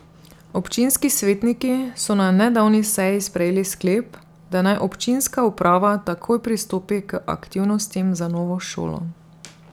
Občinski svetniki so na nedavni seji sprejeli sklep, da naj občinska uprava takoj pristopi k aktivnostim za novo šolo.